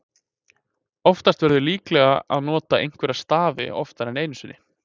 Oftast verður líklega að nota einhverja stafi oftar en einu sinni.